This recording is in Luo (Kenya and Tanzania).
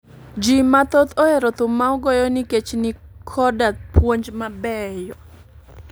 Ji mathoth ohero thum ma ogoyo nkech ni koda puonj ma beyo